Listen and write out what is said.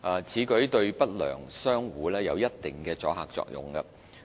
此舉對不良商戶有一定的阻嚇作用。